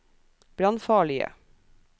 brannfarlige